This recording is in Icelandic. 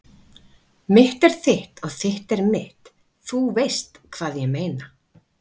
Mitt er þitt og þitt er mitt- þú veist hvað ég meina.